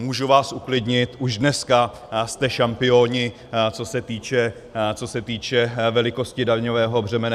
Můžu vás uklidnit, už dneska jste šampioni, co se týče velikosti daňového břemene.